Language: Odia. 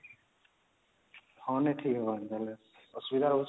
ହଁ ନାଇଁ ଠିକ ହବ ଏମିତି ନେଲେ ଅସୁବିଧା ରହୁଛି ବେଲେ